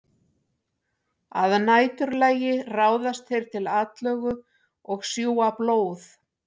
Að næturlagi ráðast þeir til atlögu og sjúga blóð.